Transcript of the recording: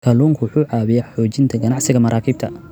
Kalluunku waxa uu caawiyaa xoojinta ganacsiga maraakiibta.